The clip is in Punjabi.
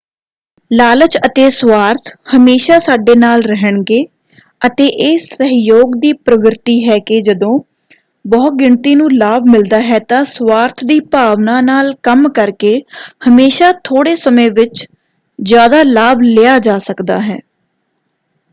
ਲਾਲਚ ਅਤੇ ਸਵਾਰਥ ਹਮੇਸ਼ਾ ਸਾਡੇ ਨਾਲ ਰਹਿਣਗੇ ਅਤੇ ਇਹ ਸਹਿਯੋਗ ਦੀ ਪ੍ਰਵਿਰਤੀ ਹੈ ਕਿ ਜਦੋਂ ਬਹੁਗਿਣਤੀ ਨੂੰ ਲਾਭ ਮਿਲਦਾ ਹੈ ਤਾਂ ਸਵਾਰਥ ਦੀ ਭਾਵਨਾ ਨਾਲ ਕੰਮ ਕਰਕੇ ਹਮੇਸ਼ਾ ਥੋੜ੍ਹੇ ਸਮੇਂ ਵਿੱਚ ਜਿਆਦਾ ਲਾਭ ਲਿਆ ਜਾ ਸਕਦਾ ਹੈ।